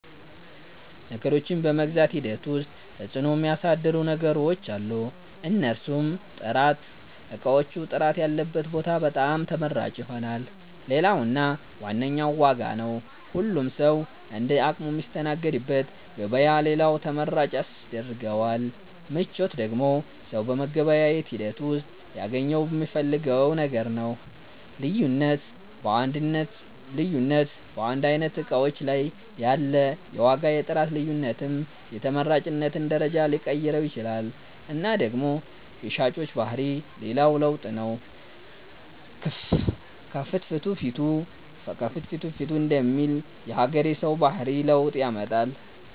ነገሮችን በመግዛት ሂደት ዉስጥ ተፅዕኖ ሚያሣድሩ ነገሮች አሉ። እነርሡም፦ ጥራት እቃዎቹ ጥራት ያለበት ቦታ በጣም ተመራጭ ይሆናል። ሌላው እና ዋነኛው ዋጋ ነው ሁሉም ሠዉ እንደ አቅሙ ሚስተናገድበት ገበያ ሌላው ተመራጭ ያስደርገዋል። ምቾት ደግሞ ሠው በመገበያየት ሂደት ውሥጥ ሊያገኘው ሚፈልገው ነገር ነው። ልዩነት በአንድ አይነት እቃዎች ላይ ያለ የዋጋ የጥራት ልዮነትም የተመራጭነትን ደረጃ ሊቀይረው ይችላል እና ደግሞ የሻጮች ባህሪ ሌላው ለውጥ ነው ከፍትፊቱ ፊቱ ደሚል የሀገሬ ሠው ባህሪ ለውጥ ያመጣል።